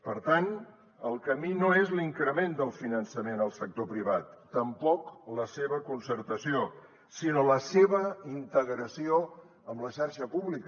per tant el camí no és l’increment del finançament al sector privat tampoc la seva concertació sinó la seva integració en la xarxa pública